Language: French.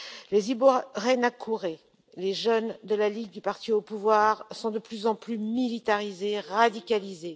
Les Imbonerakure les jeunes de la ligue du parti au pouvoir, sont de plus en plus militarisés et radicalisés.